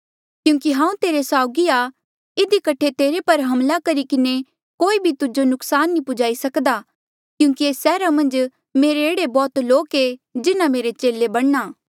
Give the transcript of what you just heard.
क्यूंकि हांऊँ तेरे साउगी आ इधी कठे तेरे पर हमला करी किन्हें कोई भी तुजो नुकसान नी पुज्हा ई सक्दा क्यूंकि एस सैहरा मन्झ मेरे एह्ड़े बौह्त लोक ऐें जिन्हा मेरे चेले बणना